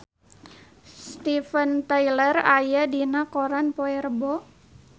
Steven Tyler aya dina koran poe Rebo